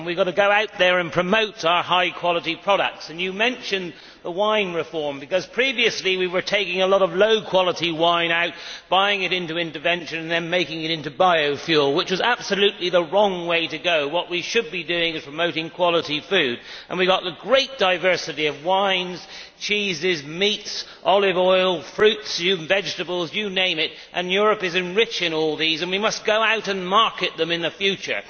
We have got to go out there and promote our high quality products. You mentioned the wine reform previously, we were taking a lot of low quality wine out of the market, buying it into intervention and then making it into biofuel, which was absolutely the wrong way to go. What we should be doing is promoting quality food. We have got a great diversity of wines, cheeses, meats, olive oil, fruits, vegetables you name it. Europe is rich in all these and we must go out and market them in the future.